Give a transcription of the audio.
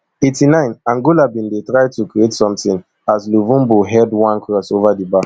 eighty-nine angola bin dey try to create sometin as luvumbo head one cross ova di bar